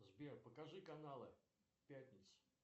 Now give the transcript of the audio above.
сбер покажи каналы пятница